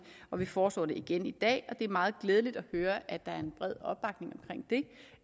og vi foreslår det igen i dag og det er meget glædeligt at høre at der